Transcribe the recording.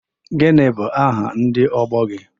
Gịnị bụ aha ndị ọgbọ gị?